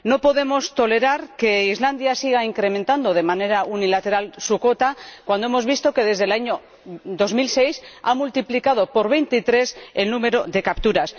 No podemos tolerar que Islandia siga incrementando de manera unilateral su cuota, cuando hemos visto que desde el año 2006 ha multiplicado por 23 el número de capturas.